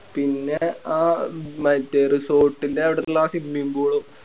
പിന്നെ ആ മറ്റേ Resort ൻറെ അവിടുള്ള Swimming pool